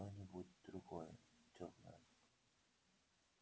что-нибудь другое тёплое